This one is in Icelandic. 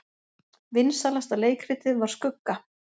Vinsælasta leikritið var Skugga